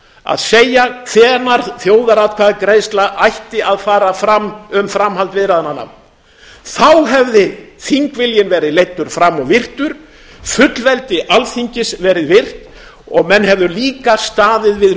að segja hvenær þjóðaratkvæðagreiðsla ætti að fara fram um framhald viðræðnanna þá hefði þingviljinn verið leiddur fram og virtur fullveldi alþingis verið virt og menn hefðu líka staðið við